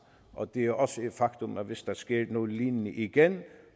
det er også et faktum at hvis der skete noget lignende igen